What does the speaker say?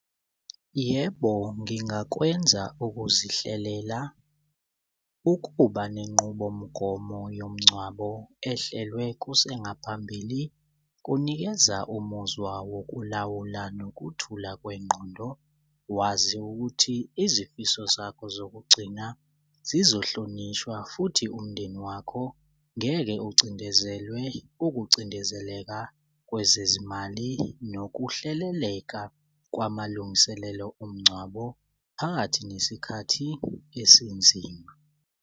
Yebo, ngingakwenza ukuzihlelela ukuba nenqubomgomo yomgcwabo ehlelwe kusengaphambili kunikeza umuzwa wokulawula nokuthula kwengqondo. Wazi ukuthi izifiso zakho zokugcina zizohlonishwa futhi umndeni wakho ngeke ucindezelwe ukucindezeleka kwezezimali nokuhleleleka kwamalungiselelo omngcwabo phakathi nesikhathi esinzima.